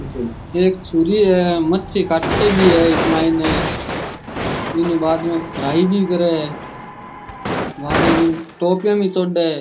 एक छुरी है मच्छी काटे भी है इक मायने बिन बादम फ्राई भी करे है बादम बिन टोपियां महि चौड।